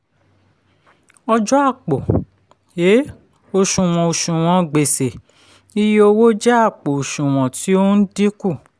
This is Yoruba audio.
ọjọ àpò um òsùnwọ̀n òsùnwọ̀n gbèsè iye owó jẹ àpò òsùnwọ̀n tí ó ń dínkù.